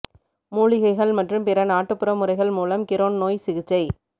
மூலிகைகள் மற்றும் பிற நாட்டுப்புற முறைகள் மூலம் கிரோன் நோய் சிகிச்சை